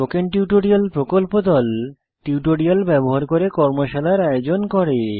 spoken tutorial প্রকল্প দল tutorial ব্যবহার করে কর্মশালার আয়োজন করে